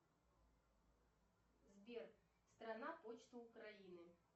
сбер страна почта украины